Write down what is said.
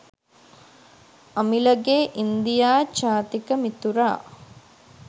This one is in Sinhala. අමිලගේ ඉන්දියා ජාතික මිතුරා